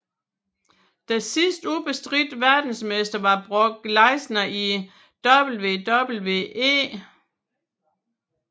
Den sidste ubestridte verdensmester var Brock Lesnar i WWE